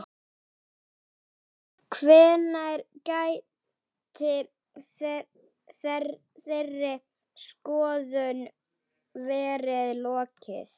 Lóa: Hvenær gæti þeirri skoðun verið lokið?